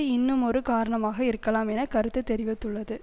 இன்னுமொரு காராணமாக இருக்கலாம் என கருத்து தெரிவித்துள்ளது